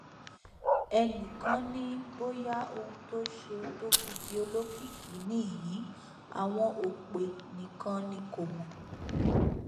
ẹnì kan ni bóyá ohun tó ṣe tó fi di olókìkí nìyí àwọn òpè nìkan ni kò mọ